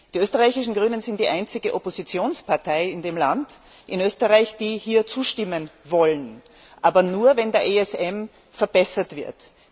Die österreichischen Grünen sind die einzige Oppositionspartei in Österreich, die hier zustimmen will, aber nur wenn der ESM verbessert wird.